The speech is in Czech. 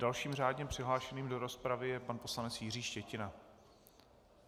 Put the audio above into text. Dalším řádně přihlášeným do rozpravy je pan poslanec Jiří Štětina.